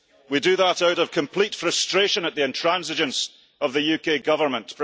We do that out of complete frustration at the intransigence of the UK Government.